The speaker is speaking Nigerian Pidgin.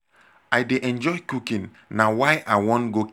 i dey enjoy cooking na why i wan go catering school school